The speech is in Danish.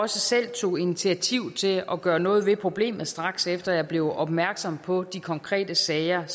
selv tog initiativ til at gøre noget ved problemet straks efter at jeg blev opmærksom på de konkrete sager